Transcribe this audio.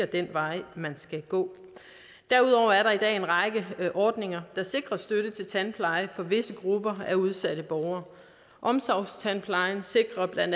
den vej man skal gå derudover er der i dag en række ordninger der sikrer støtte til tandpleje for visse grupper af udsatte borgere omsorgstandplejen sikrer bla